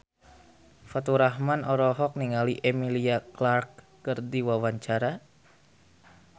Faturrahman olohok ningali Emilia Clarke keur diwawancara